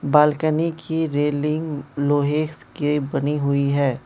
Balcony की railing लोहे से के बनी हुई है।